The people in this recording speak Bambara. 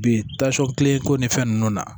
Bi kilen ko ni fɛn nunnu na